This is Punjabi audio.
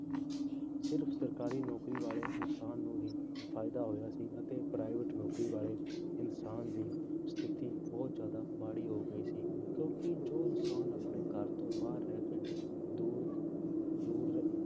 ਸਿਰਫ਼ ਸਰਕਾਰੀ ਨੌਕਰੀ ਵਾਲੇ ਇਨਸਾਨ ਨੂੰ ਹੀ ਫ਼ਾਇਦਾ ਹੋਇਆ ਸੀ ਅਤੇ private ਨੌਕਰੀ ਵਾਲੇ ਇਨਸਾਨ ਦੀ ਸਥਿਤੀ ਬਹੁਤ ਜ਼ਿਆਦਾ ਮਾੜੀ ਹੋ ਗਈ ਸੀ ਕਿਉਂਕਿ ਜੋ ਇਨਸਾਨ ਆਪਣੇ ਘਰ ਤੋਂ ਬਾਹਰ ਰਹਿ ਕੇ ਦੂਰ ਦੂਰ